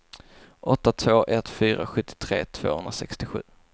åtta två ett fyra sjuttiotre tvåhundrasextiosju